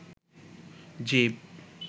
জীব